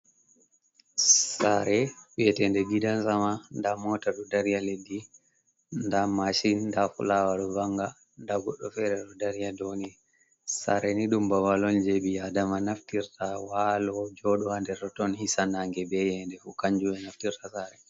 Sare wiyetende gidan sama da mota du dariya leddi da mashin dafulawa do banga dagodo fere do darya doni sare ni dumba balon jebiya dama naftirta walo jodowande roton hisanange beyende hu kanjuwe naftirta sare.